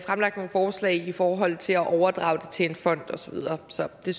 fremlagt nogle forslag i forhold til at overdrage det til en fond og så videre så det